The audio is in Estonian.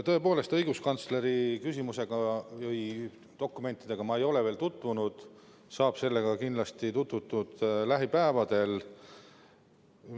Tõepoolest, õiguskantsleri dokumentidega ma ei ole veel tutvunud, nendega saab kindlasti tutvutud lähipäevadel.